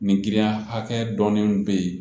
Nin giriya dɔɔnin bɛ yen